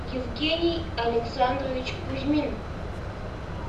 евгений александрович кузьмин